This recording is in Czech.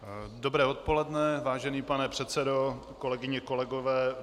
Dobré odpoledne, vážený pane předsedo, kolegyně, kolegové.